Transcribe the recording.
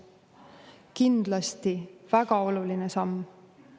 Kindlasti väga oluline samm!